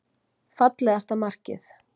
Fallegasta markið.